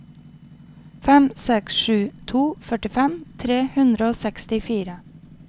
fem seks sju to førtifem tre hundre og sekstifire